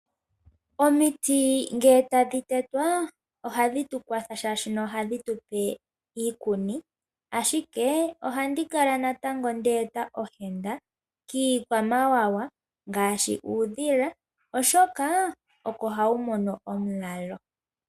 Omiti nge tadhi tetwa a ohadhi tu kwatha, shaashino ohadhi tu pe iikuni, ashike ohandi kala natango nde eta ohenda i kiikwamawawa, ngaashi uudhila, oshoka oko ha wu mono onulalo.